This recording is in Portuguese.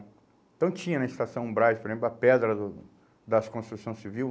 Então tinha na Estação Braz, por exemplo, a pedra do das construção civil.